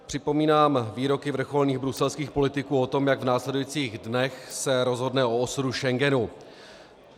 Připomínám výroky vrcholných bruselských politiků o tom, jak v následujících dnech se rozhodne o osudu Schengenu.